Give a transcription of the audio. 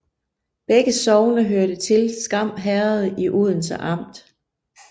Begge sogne hørte til Skam Herred i Odense Amt